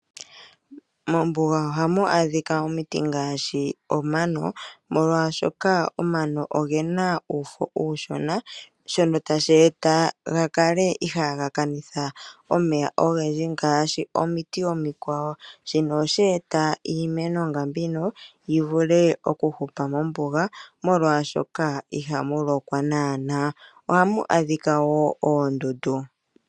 Mombuga ohamu adhika omiti ngaashi omano molwaashoka omano ogena uufo uushona shono tashi eta gakale ihaga kanitha omeya ogendji ngaashi omiti omikwawo shino ohashi eta iimeno nga mbino yivule okuhupa mombuga molwaashoka ihamu lokwa naana. Ohamu adhika woo oondundu .